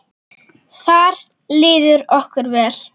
Þar líður okkur vel.